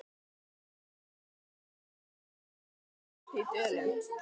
Sat hann um þessar mundir að Hjarðarholti í Dölum.